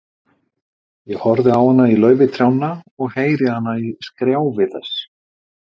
Ég horfi á hana í laufi trjánna og heyri hana í skrjáfi þess.